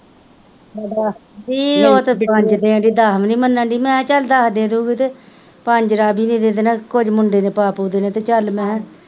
ਵੀਹ ਓਹ ਤਾਂ ਪੰਜ ਦੇ ਰਹੀ ਦੱਸ ਵੀ ਨੀ ਮਾਨਣਦੀ ਮੈਲਿਆ ਚੱਲ ਦੱਸ ਦੇ ਦੁਗੀ ਤਾਂ ਪੰਜ ਰਾਵੀ ਨੇ ਦੇ ਦੇਣੇ ਕੁਝ ਮੁਂਡੇ ਨੇ ਪਾ ਪੂ ਦੇਣੇ ਤੇ ਚੱਲ ਮੈਆ,